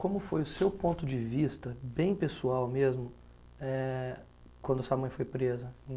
Como foi o seu ponto de vista, bem pessoal mesmo, eh, quando sua mãe foi presa?